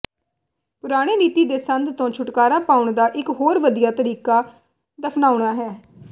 ਪੁਰਾਣੇ ਰੀਤੀ ਦੇ ਸੰਦ ਤੋਂ ਛੁਟਕਾਰਾ ਪਾਉਣ ਦਾ ਇਕ ਹੋਰ ਵਧੀਆ ਤਰੀਕਾ ਦਫ਼ਨਾਉਣਾ ਹੈ